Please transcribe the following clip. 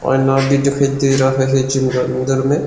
भी दिखाई दे रहा है जिम के अंदर में।